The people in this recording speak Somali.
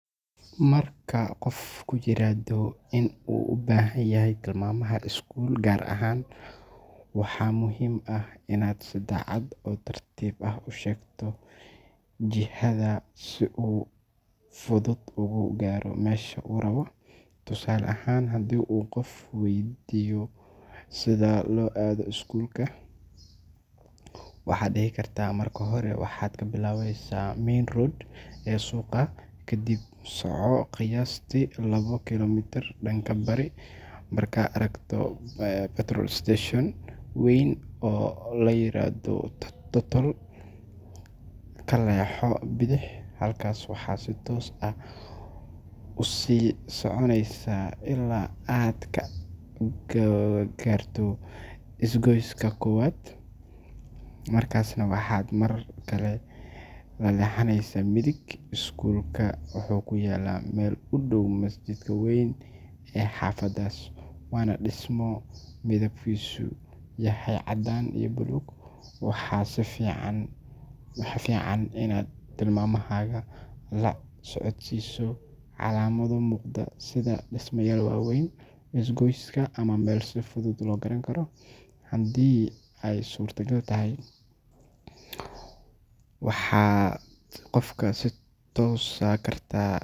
Marka qof kugu yiraahdo inuu u baahan yahay tilmaamaha iskuul gaar ah, waxaa muhiim ah inaad si cad oo tartiib ah u sheegto jihada si uu si fudud ugu gaaro meesha uu rabo. Tusaale ahaan, haddii uu qof weydiiyo sida loo aado iskuulka Greenhill Academy, waxaad dhihi kartaa: “Marka hore waxaad ka bilaabaysaa main road ee suuqa, kadib soco qiyaastii labo kiiloomitir dhanka bari. Markaad aragto petrol station weyn oo la yiraahdo Total, ka leexo bidix. Halkaas waxaad si toos ah u sii soconaysaa ilaa aad ka gaarto isgoyska koowaad, markaasna waxaad mar kale ka leexanaysaa midig. Iskuulka wuxuu ku yaalaa meel u dhow masjidka weyn ee xaafaddaas, waana dhismo midabkiisu yahay caddaan iyo buluug.” Waxaa fiican in aad tilmaamahaaga la socodsiiso calaamado muuqda sida dhismayaal waaweyn, isgoysyada, ama meelo si fudud loo garan karo. Haddii ay suurtagal tahay, waxaad qofka ku tusi kartaa.